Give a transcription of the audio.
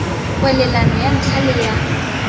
kwalelano ya ntlha le ya